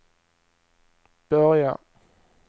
börja